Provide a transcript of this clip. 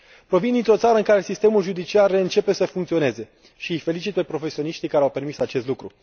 Provin dintr o țară în care sistemul judiciar reîncepe să funcționeze și îi felicit pe profesioniștii care au permis acest lucru.